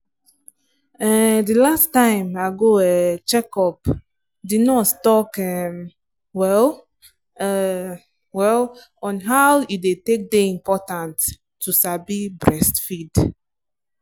ehnnnthe last time i go um check upthe nurse talk um well um well on how e take day important to sabi breastfeed.